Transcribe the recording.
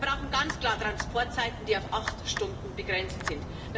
Wir brauchen ganz klar Transportzeiten, die auf acht Stunden begrenzt sind.